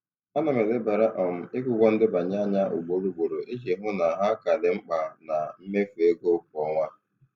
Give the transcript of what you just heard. Ana m elebara um ikwu ụgwọ ndebanye anya ugboro ugboro iji hụ na ha ka dị mkpa na mmefu ego kwa ọnwa.